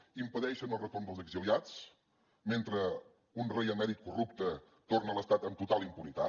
impedeixen el retorn dels exiliats mentre un rei emèrit corrupte torna a l’estat amb total impunitat